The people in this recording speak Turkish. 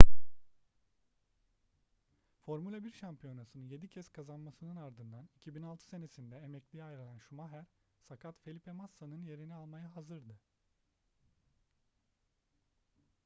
formula 1 şampiyonasını yedi kez kazanmasının ardından 2006 senesinde emekliye ayrılan schumacher sakat felipe massa'nın yerini almaya hazırdı